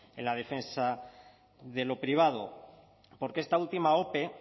en la defensa de lo privado porque esta última ope